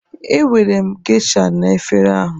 Ewere m Geisha na efere ahụ